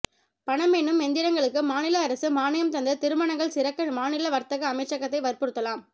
பணம் எண்ணும் எந்திரங்களுக்கு மாநில அரசு மானியம் தந்து திருமணங்கள் சிறக்க மாநில வர்த்தக அமைச்சகத்தை வற்புறுத்தலாம்